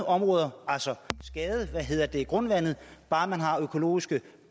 områder altså skade grundvandet bare man har økologiske